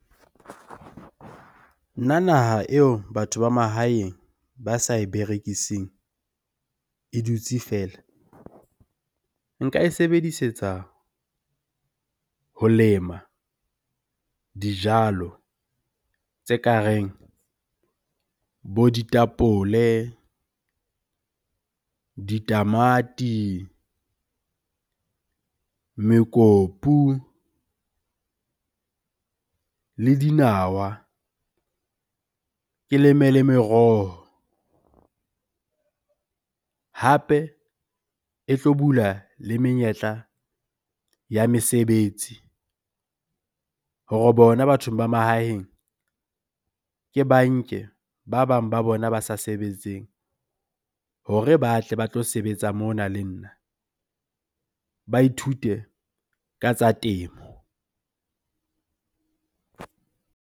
Nna naha eo batho ba mahaeng ba sa berekising, e dutse feela. Nka e sebedisetsa ho lema dijalo tse kareng bo ditapole, ditamati, mekopu le dinawa, ke leme le meroho. Hape e tlo bula le menyetla ya mesebetsi hore bona bathong ba mahaheng ke banke ba bang ba bona ba sa sebetseng hore ba tle ba tlo sebetsa mona le nna. Ba ithute ka tsa temo .